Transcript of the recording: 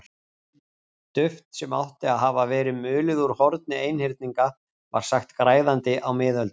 Duft sem átti að hafa verið mulið úr horni einhyrninga var sagt græðandi á miðöldum.